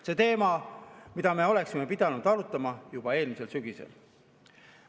See on teema, mida me oleksime pidanud arutama juba eelmisel sügisel.